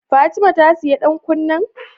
Fatima ta siya dan kunnan?